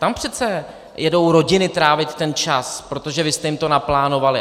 Tam přece jedou rodiny trávit ten čas, protože vy jste jim to naplánovali.